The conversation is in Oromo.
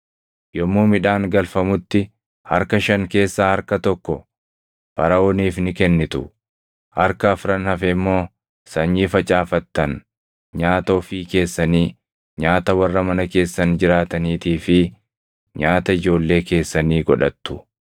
Yommuu midhaan galfamutti harka shan keessaa harka tokko Faraʼooniif ni kennitu. Harka afran hafe immoo sanyii facaafattan, nyaata ofii keessanii, nyaata warra mana keessan jiraataniitii fi nyaata ijoollee keessanii godhattu.”